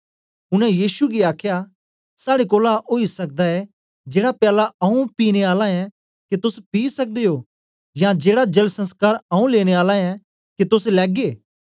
उनै यीशु गी आखया साड़े कोलां ओई सकदा ए जेड़ा प्याला आऊँ पीने आला ऐं के तोस पी सकदे ओ यां जेड़ा जल संस्कार आऊँ लेने आला ऐं के तोस लैगे